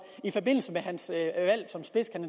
i forbindelse